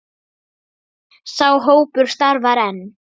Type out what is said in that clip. Sá hópur starfar enn.